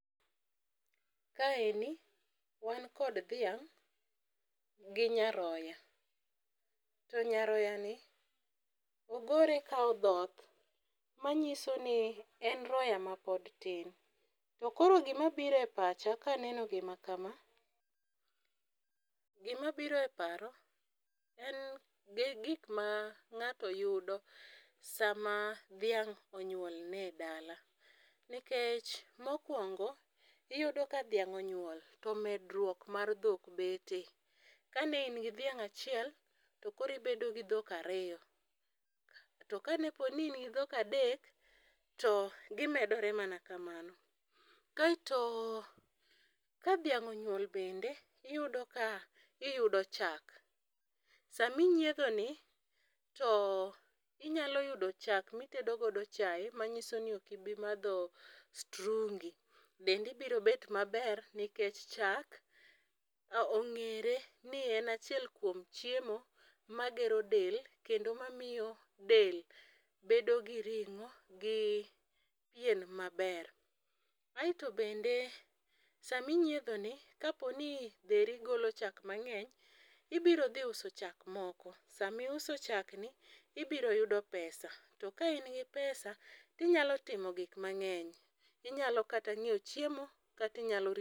Kaeni wankod dhiang' gi nyaroya, to nyaroyani ogore ka odhoth, manyiso ni en roya mapod tin, to koro gimabiro e pacha kaneno gima kama, gimabiro e paro en gi gik mang'ato yudo sama dhiang' onyuolne e dala, nikech mokwongo iyudo ka dhiang' onyuol, yo medruok mar dhok betie, kane in gi dhiang' achiel, to koro ibedo gi dhok ariyo, to kane poni in gi dhok adek, to gimedore mana kamano. Kaeto ka dhiang' onyuol bende, iyudo ka iyudo chak, sami nyiedhoni to inyalo yudo chak mitedo godo chaye manyiso ni ok ibimadho strungi, dendi biro bet maber nikech chak ong'ere ni en achiel kuom chiemo magero del, kendo mamiyo del bedo gi ring'o gi pien maber, aeto bende saminyiedhoni, kaponi dheri golo chak mang'eny, ibiro dhi uso chak moko, samiuso chakni ,ibiro yudo pesa to ka in gi pesa tinyalo timo gik mang'eny, inyalo kata ng'iewo chiemo kata inyalo